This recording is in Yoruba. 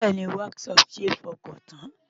Bẹ́ẹ̀ni, Whatsapp ṣe é fọkàn tán.